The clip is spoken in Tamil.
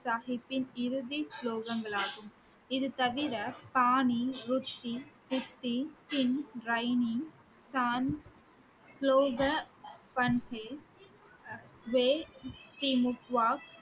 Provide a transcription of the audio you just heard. சாஹிப்பின் இறுதி ஸ்லோகங்கள் ஆகும் இது தவிர